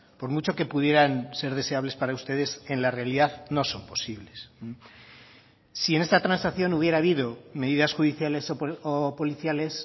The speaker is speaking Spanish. por mucho que pudieran ser deseables para ustedes en la realidad no son posibles si en esta transacción hubiera habido medidas judiciales o policiales